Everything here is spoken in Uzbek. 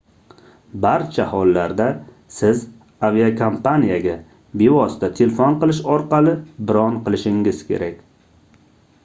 barcha hollarda siz aviakompaniyaga bevosita telefon qilish orqali bron qilishingiz kerak